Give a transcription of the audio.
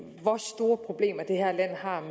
være